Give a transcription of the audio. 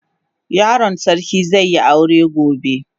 Yaron sarki zai yi aure gobe.